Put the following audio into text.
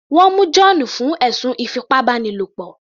Wọ́n mú John fún ẹ̀sùn ìfipábánilo